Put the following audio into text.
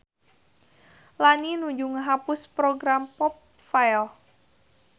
Lani nuju ngahapus program popfile